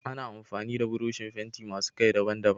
Ana amfani da burushin fenti masu Kai daban daban